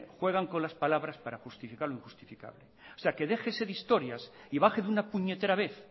juegan con las palabras para justificar lo injustificable o sea que déjese de historias y baje de una puñetera vez